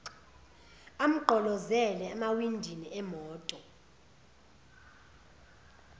amgqolozele emawindini emoto